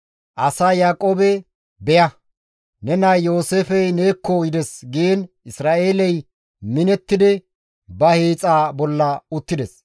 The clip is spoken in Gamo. Asay Yaaqoobe, «Beya! Ne nay Yooseefey neekko yides» giin Isra7eeley minettidi ba hiixa bolla dendi uttides.